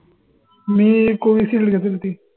मी Covishield घेतली होती.